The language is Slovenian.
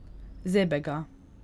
Zebe ga.